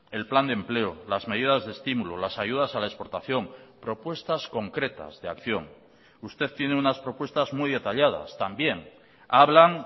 el plan de empleo las medidas de estímulo las ayudas a la exportación propuestas concretas de acción usted tiene unas propuestas muy detalladas también hablan